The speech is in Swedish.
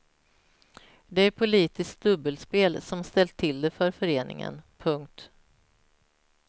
Det är politiskt dubbelspel som ställt till det för föreningen. punkt